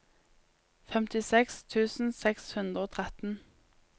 femtiseks tusen seks hundre og tretten